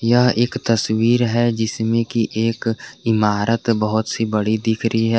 यह एक तस्वीर है जिसमें कि एक इमारत बहुत सी बड़ी दिख रही है।